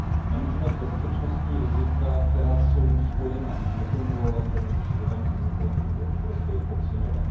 Nemůžeme bezpečnostní rizika, která jsou spojena s nekontrolovatelným přílivem imigrantů do Evropy, podceňovat.